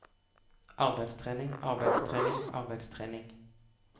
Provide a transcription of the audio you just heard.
arbeidstrening arbeidstrening arbeidstrening